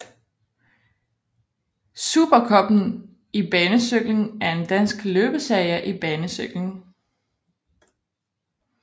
Supercuppen i banecykling er en dansk løbsserie i banecykling